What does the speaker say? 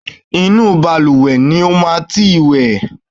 Inú balùwẹ̀ ni o ti máa wẹ̀!